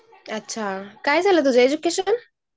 अच्छा. काय झालय तुझं एज्युकेशन?